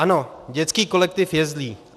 Ano, dětský kolektiv je zlý.